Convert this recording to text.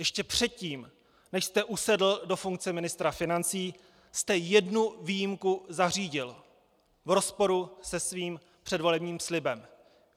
Ještě předtím, než jste usedl do funkce ministra financí, jste jednu výjimku zařídil - v rozporu se svým předvolebním slibem.